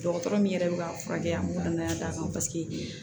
Dɔgɔtɔrɔ min yɛrɛ bɛ ka furakɛ an bɛ ka danaya d'a kan paseke